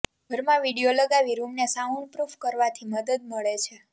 ઘરમાં વિડિયો લગાવી રૂમને સાઉન્ડપ્રૂફ કરવાથી મદદ મળે છે